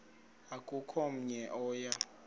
akukho namnye oya